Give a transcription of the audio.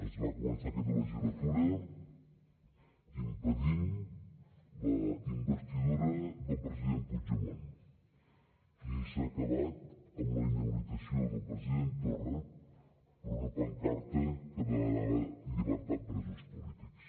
es va començar aquesta legislatura impedint la investidura del president puigdemont i s’ha acabat amb la inhabilitació del president torra per una pancarta que demanava llibertat presos polítics